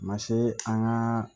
A ma se an ka